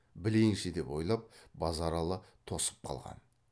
білейінші деп ойлап базаралы тосып қалған